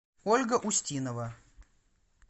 ольга устинова